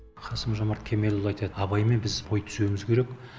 қасым жомарт кемелұлы айтады абаймен біз бой түзеуіміз керек